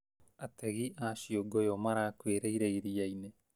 Ategi a ciũngũyũ marakuĩrĩire iriainĩ